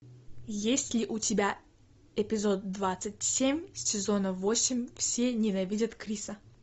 есть ли у тебя эпизод двадцать семь сезона восемь все ненавидят криса